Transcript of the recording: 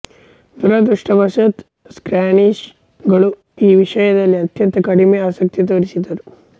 ದುರದೃಷ್ಟಾವಶಾತ್ Spanish ಗಳು ಈ ವಿಷಯದಲ್ಲಿ ಅತ್ಯಂತ ಕಡಿಮೆ ಆಸಕ್ತಿ ತೋರಿಸಿದರು